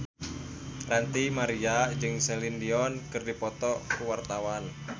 Ranty Maria jeung Celine Dion keur dipoto ku wartawan